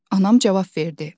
Anam cavab verdi.